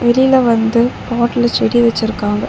வெளில வந்து பாட்ல செடி வச்சிருக்காங்க.